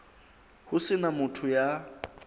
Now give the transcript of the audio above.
ho se na motho ya